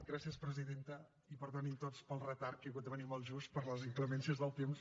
gràcies presidenta i perdonin tots pel retard que he hagut de venir molt just per les inclemències del temps